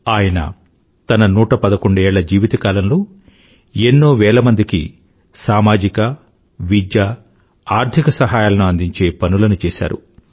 ఆయన తన 111ఏళ్ళ జీవితకాలంలో ఎన్నో వేల మందికి సామజిక విద్యా ఆర్థిక సహాయాలను అందించే పనులను చేసారు